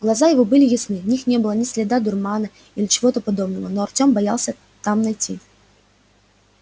глаза его были ясны в них не было ни следа дурмана или чего-то подобного но артём боялся там найти